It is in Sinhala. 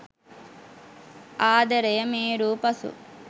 ආදරය මේරූ පසු